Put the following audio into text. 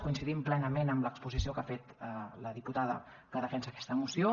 coincidim plenament amb l’exposició que ha fet la diputada que defensa aquesta moció